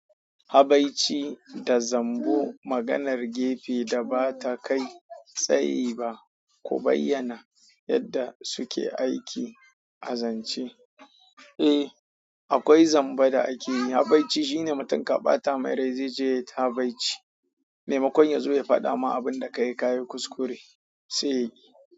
Habai ci da zambu maganar gefe da ba ta kai tsayi ba. Ku bayyana yadda suke aiki a zance. Eh, akwai zanba da ake yi. Habaici shine mutum ka ɓata mai rai zai je ya habaici. Mai makon yazo ya faɗa ma abin da ka yi ka yi kuskure, sai.